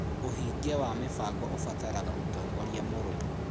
ũhingia wa mĩbango ũbataraga ũtongoria mũrũmu.